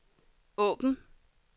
åbn